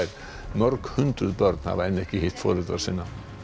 mörg hundruð börn hafa enn ekki hitt foreldra sína